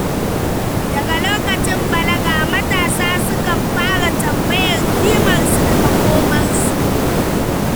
Daga lokacin balaga, matasa sukan fara tambayar kimarsu da makomarsu.